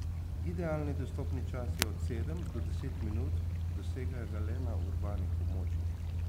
Idealni dostopni čas je od sedem do deset minut, dosegajo ga le na urbanih območjih.